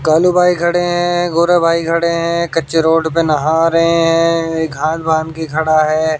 कालू भाई खड़े हैं गोरा भाई खड़े हैं कच्चे रोड पे नहा रहे हैं एक हाथ बांध के खड़ा है।